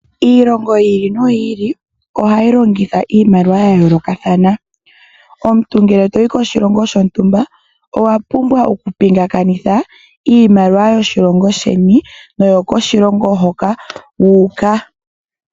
Iilongo yi ili no yili ohayi longitha iimaliwa ya yoolokathana. Omuntu ngele toyi koshilongo shontumba, owa pumbwa okupingakanitha iimaliwa yoshilongo sheni, naambyoka yokoshilongo hoka wu uka.